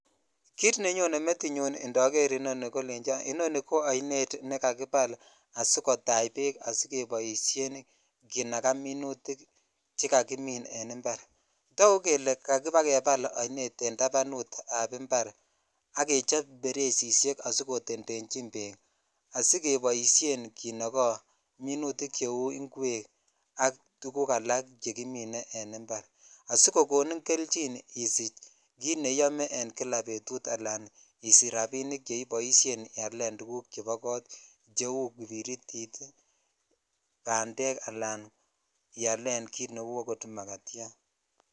Kit nenyone metinyun indoor nii nmkolecho I oni ko oinet nekakibal asikotach beek asikeboishen kinakaa minutik chekakimin en impar toguk kelee kakibal oinet en tabanut ab impar ak kechob baresishek asikotetenyi beek asikeboishen kinogen minutik cheu ingwek ak tugk alak chekimike en impar asikokonin kelyin isich neiyome en kila betut ana isich rabinik chekiboishen ialen tuguk chebo kot cheu kibiritit ii bandek alan ialen kit neu akot makatyat .